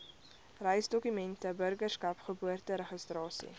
reisdokumente burgerskap geboorteregistrasie